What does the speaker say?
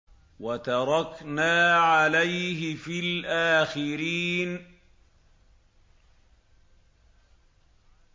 وَتَرَكْنَا عَلَيْهِ فِي الْآخِرِينَ